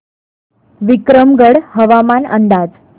विक्रमगड हवामान अंदाज